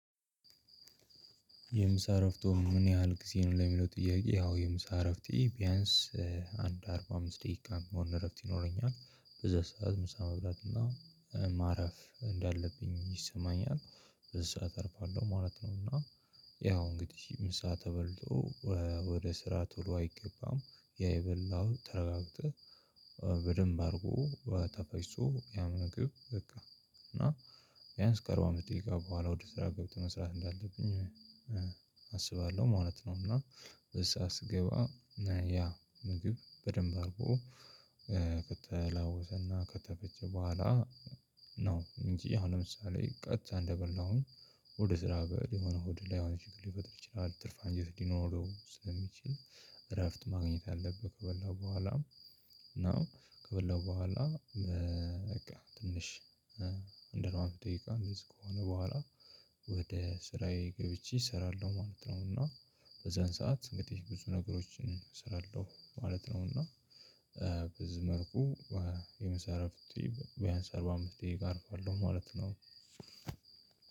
የምሳ እረፍት ምን ያህል ጊዜ ነው ለሚለው ጥያቄ? ያው የምሳ እረፍቴ ቢያንስ እ አንድ አርባ አምስት ደቂቃ የሚሆን እረፍት ይኖረኛል በዛ ሰዓት ምሳ መብላት እና ማረፍ እንዳለብኝ ይሰማኛል በዚህ ሰዓት አርፋለሁ ማለት ነው። እና ያው እንግዲህ ምሳ ተበልቶ እ ወደ ስራ ቶሎ አይገባም። ያ የበላሃው ተረጋግተው በደንብ አድርጎ ተፈጭቶ ያው ነው እንግዲህ በቃ። እና ቢያንስ ከአርባ አምስት ደቂቃ በኋላ ወደ ስራ ገብቶ መስራት እንዳለብኝ አስባለሁ ማለት ነው። እና በዛ ስገባ እ ያ ምግብ በደንብ አርጎ ከተላወሰና ከተፈጨ በኋላ ነው እንጂ አሁን ለምሳሌ ቀጥታ እንደበላሁኝ ወደ ስራ በል የሆነ ሆድ ላይ የሆነ ችግር ሊፈጥር ይችላል። ትርፍ አንጀት ሊኖረው ስለሚችል እረፍት ማግኘት አለብህ ከበላው በኋላ። እና ከበላው በኋላ በቃ ትንሽ እ አንድ አርባ ደቂቃ ከሆነ በኋላ ወደ ስራዬ ገብቼ እሰራለሁ ማለት ነው። እና በዛን ሰዓት እንግዲህ ብዙ ነገሮችን እሰራለሁ ማለት ነው። እና እ በዚህ መልኩ የምሳ ዕረፍቴ ቢያንስ አርባ አምስት ደቂቃ አርፋለሁ ማለት ነው።